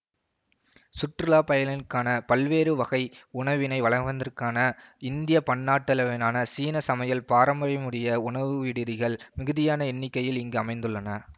சுற்றுலா பயணிகளுக்கான பல்வேறு வகை உணவினை வழங்குவதற்கான இந்திய பன்னாட்டளவிலான சீன சமையல் பாரம்பரியமுடைய உணவுவிடுதிகள் மிகுதியான எண்ணிக்கையில் இங்கு அமைந்துள்ளன